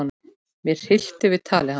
Mig hryllti við tali hans.